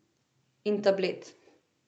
In tablet.